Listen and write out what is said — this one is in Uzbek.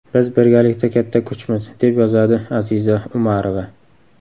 Biz birgalikda katta kuchmiz”, – deb yozadi Aziza Umarova.